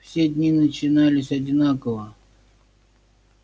все дни начинались одинаково